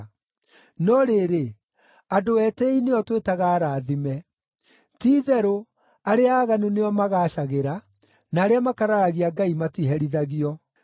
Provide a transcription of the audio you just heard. No rĩrĩ, andũ etĩĩi nĩo twĩtaga arathime. Ti-itherũ arĩa aaganu nĩo magaacagĩra, na arĩa makararagia Ngai matiherithagio.’ ”